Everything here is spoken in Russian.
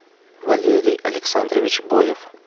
валерий александрович боев